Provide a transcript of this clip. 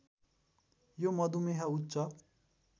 यो मधुमेह उच्च